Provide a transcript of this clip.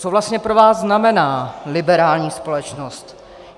Co vlastně pro vás znamená liberální společnost?